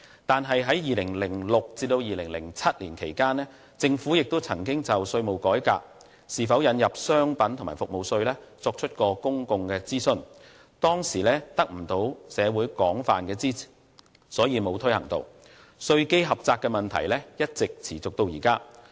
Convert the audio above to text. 但是，在2006年至2007年間，政府亦曾就是否引入商品及服務稅，作出公眾諮詢，當時未能得到社會廣泛支持，所以沒有推行，以致稅基狹窄問題一直持續至今。